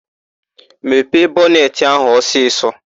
Mepee bọnetị áhụ̀ ọsịsọ!